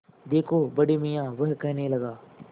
देखो बड़े मियाँ वह कहने लगा